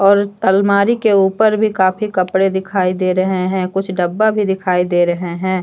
और अलमारी के ऊपर भी काफी कपड़े दिखाई दे रहे हैं कुछ डब्बा भी दिखाई दे रहे हैं।